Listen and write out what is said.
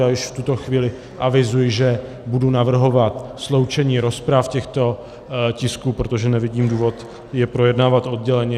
Já již v tuto chvíli avizuji, že budu navrhovat sloučení rozprav těchto tisků, protože nevidím důvod je projednávat odděleně.